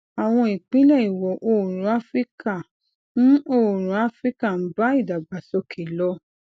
àwọn ìpínlẹ ìwò oòrùn áfíríkà ń oòrùn áfíríkà ń bá ìdàgbàsókè lọ